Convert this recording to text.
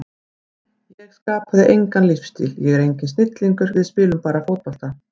Ég skapaði engan leikstíl, ég er enginn snillingur, við spilum bara fótbolta.